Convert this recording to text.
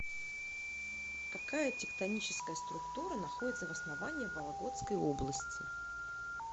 какая тектоническая структура находится в основании вологодской области